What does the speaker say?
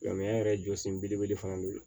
Lamɛn yɛrɛ jɔsen belebele fana bɛ yen